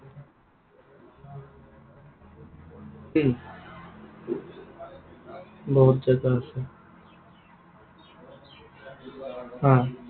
উম বহুত জেগা আছে। অ।